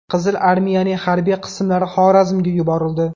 Qizil armiyaning harbiy qismlari Xorazmga yuborildi.